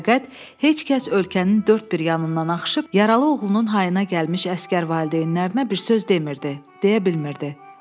Fəqət heç kəs ölkənin dörd bir yanından axışıb yaralı oğlunun hayına gəlmiş əsgər valideynlərinə bir söz demirdi, deyə bilmirdi.